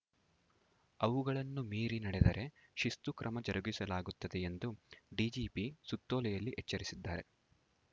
ಅವುಗಳನ್ನು ಮೀರಿ ನಡೆದರೆ ಶಿಸ್ತು ಕ್ರಮ ಜರುಗಿಸಲಾಗುತ್ತದೆ ಎಂದು ಡಿಜಿಪಿ ಸುತ್ತೋಲೆಯಲ್ಲಿ ಎಚ್ಚರಿಸಿದ್ದಾರೆ